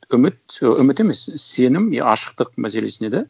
үміт ы үміт емес сенім я ашықтық мәселесіне де